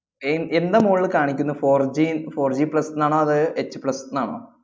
എന്~ എന്താ മോളില് കാണിക്കുന്ന fourGfourGplus ന്നാണോ അതോ HPlus ന്നാണോ?